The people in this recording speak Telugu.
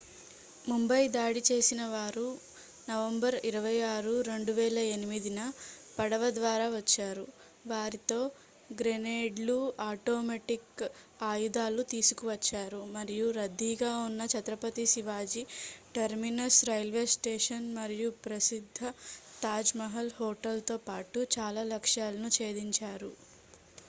ముంబై దాడి చేసినవారు నవంబర్ 26 2008న పడవ ద్వారా వచ్చారు వారితో గ్రెనేడ్లు ఆటోమేటిక్ ఆయుధాలు తీసుకువచ్చారు మరియు రద్దీగా ఉన్న Chhatrapati Shivaji terminus railway station మరియు ప్రసిద్ధ తాజ్ మహల్ హోటల్తో పాటు చాల లక్ష్యాలను చేధించారు